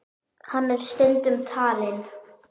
Hann er stundum talinn